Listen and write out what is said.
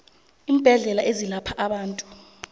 iimbedlela ezelapha abantu